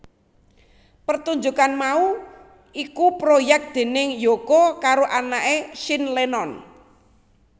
Pertunjukan mau iku proyek déning Yoko karo anaké Sean Lennon